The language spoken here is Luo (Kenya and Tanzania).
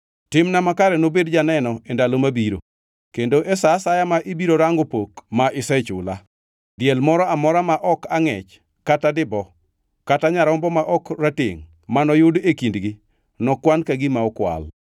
Timna makare nobed janeno e ndalo mabiro kendo, e sa asaya ma ibiro rango pok ma isechula. Diel moro amora ma ok angʼech kata dibo kata nyarombo ma ok ratengʼ manoyud e kindgi nokwan ka gima okwal.”